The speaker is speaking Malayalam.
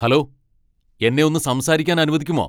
ഹലോ, എന്നെ ഒന്ന് സംസാരിക്കാൻ അനുവദിക്കുമോ?